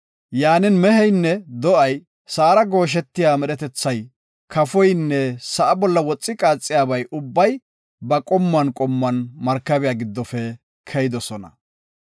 Yaanin, meheynne do7ay, sa7ara gooshetiya medhetethay, kafoynne sa7a bolla woxi qaaxiyaba ubbay ba qommuwan qommuwan markabiya giddofe keyidosona.